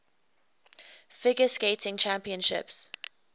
figure skating championships